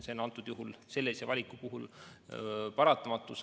See on sellise valiku puhul paratamatus.